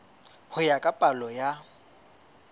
ho ya ka palo ya